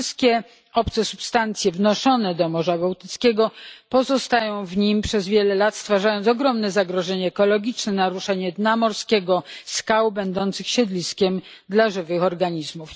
Wszystkie obce substancje wnoszone do Morza Bałtyckiego pozostają w nim przez wiele lat, stwarzając ogromne zagrożenie ekologiczne, naruszenie dna morskiego, skał będących siedliskiem dla żywych organizmów.